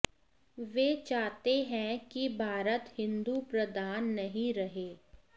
वे चाहते हैं कि भारत हिंदू प्रधान नहीं रहे